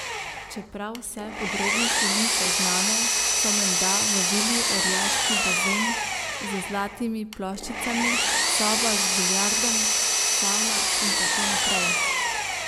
Čeprav vse podrobnosti niso znane, so menda v vili orjaški bazen z zlatimi ploščicami, soba z biljardom, savna in tako naprej.